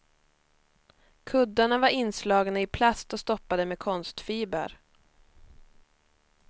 Kuddarna var inslagna i plast och stoppade med konstfiber.